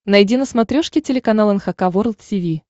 найди на смотрешке телеканал эн эйч кей волд ти ви